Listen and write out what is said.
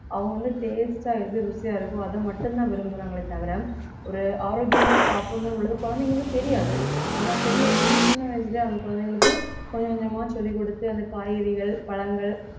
அவங்க வந்து taste ஆ எது ருசியா இருக்கோ அதை மட்டும்தான் விரும்புறாங்களே தவிர ஒரு ஆரோக்கியமா சாப்பிடணும்னு உள்ளது குழந்தைங்களுக்கு தெரியாது நம்ம பெரிய என்னமோ சின்ன வயசுலயே அந்த குழந்தைகளுக்கு கொஞ்ச கொஞ்சமா சொல்லிக் கொடுத்து அந்த காய்கறிகள் பழங்கள்